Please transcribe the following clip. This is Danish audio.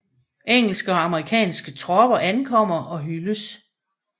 Engelske og amerikanske tropper ankommer og hyldes